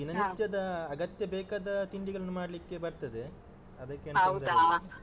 ದಿನನಿತ್ಯದ, ಅಗತ್ಯ ಬೇಕಾದ ತಿಂಡಿಗಳನ್ನು ಮಾಡ್ಲಿಕ್ಕೆ ಬರ್ತದೆ, ಅದಕ್ಕೇನ್ ತೊಂದ್ರೆ .